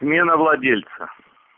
смена владельца